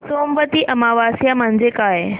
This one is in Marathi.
सोमवती अमावस्या म्हणजे काय